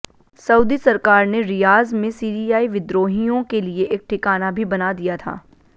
Saudi सरकार ने Riyadh में सीरियाई विद्रोहियों के लिए एक ठिकाना भी बना दिया था